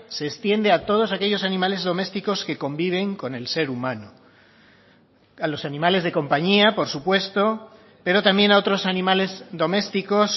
se extiende a todos aquellos animales domésticos que conviven con el ser humano a los animales de compañía por supuesto pero también a otros animales domésticos